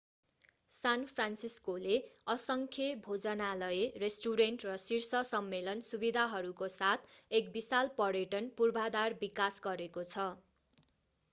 सान फ्रान्सिस्कोले असङ्ख्य भोजनालय रेस्टुरेन्ट र शीर्ष सम्मेलन सुविधाहरूको साथ एक विशाल पर्यटन पूर्वाधार विकास गरेको छ